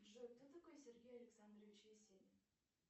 джой кто такой сергей александрович есенин